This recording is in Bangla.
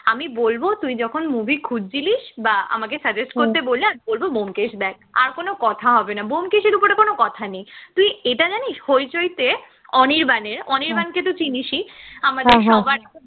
আমি বলব তুই যখন movie খুজছিলিস, বা আমাকে suggest করতে বললে আমি বলব ব্যোমকেশ দেখ, আর কোন কথা হবে না ব্যোমকেশের ওপরে কোন কথা নেই, তুই এটা জানিস হইচইতে অনির্বানের অনির্বাণকে তো তুই চিনিসই আমাদের সবার